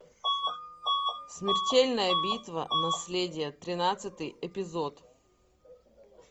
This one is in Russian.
смертельная битва наследие тринадцатый эпизод